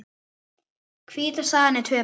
Hvíta staðan er töpuð.